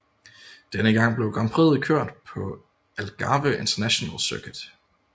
Denne gang blev grand prixet kørt på Algarve International Circuit